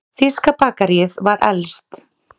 Þýska bakaríið var elst.